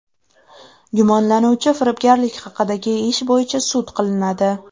Gumonlanuvchi firibgarlik haqidagi ish bo‘yicha sud qilinadi.